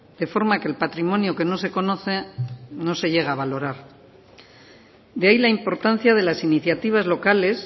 de forma que el patrimonio que no se conoce no se llega a valorar de ahí la importancia de las iniciativas locales